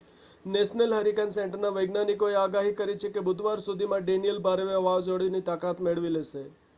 national hurricane સેન્ટરના વૈજ્ઞાનિકોએ આગાહી કરી છે કે બુધવાર સુધીમાં ડેનિયેલ ભારે વાવાઝોડાની તાકાત મેળવી લેશે